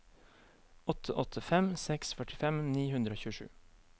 åtte åtte fem seks førtifem ni hundre og tjuesju